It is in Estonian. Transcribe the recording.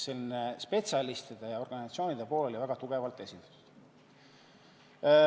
Seega spetsialistide ja organisatsioonide pool oli väga tugevalt esindatud.